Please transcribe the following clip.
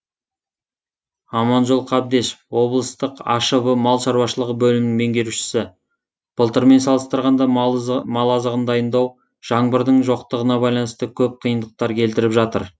аманжол қабдешов облысық ашб мал шаруашылығы бөлімінің меңгерушісі былтырмен салыстырғанда мал азығын дайындау жаңбырдың жоқтығына байланысты көп қиындықтар келтіріп жатыр